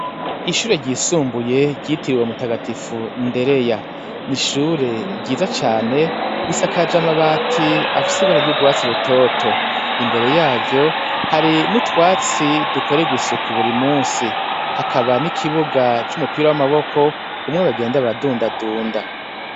Ishure ryisumbuye ryitiriwe mutagatifu ndereya n' ishure ryiza cane risakaje amabati afise ibara ryugwatsi rutoto imbere yaryo hari n'utwatsi dukorerwa isuku burimusi hakaba n' ikibuga cumupira wamaboko umwe bagenda baradundadunda .